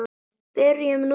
Byrjum núna.